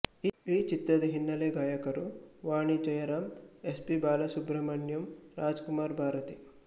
ಈ ಚಿತ್ರದ ಹಿನ್ನಲೆ ಗಾಯಕರು ವಾಣಿ ಜಯರಾಂ ಎಸ್ ಪಿ ಬಾಲಸುಬ್ರಹ್ಮಣ್ಯಂರಾಜಕುಮಾರ್ ಭಾರತಿ